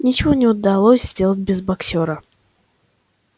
ничего бы не удалось сделать без боксёра